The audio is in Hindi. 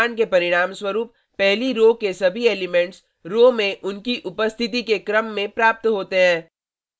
इस कमांड के परिणामस्वरूप पहली रो row के सभी एलिमेंट्स रो में उनकी उपस्थिति के क्रम में प्राप्त होते हैं